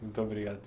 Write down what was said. Muito obrigado.